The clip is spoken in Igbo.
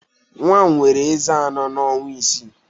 Nwa m nwere ezé anọ na ọnwa isii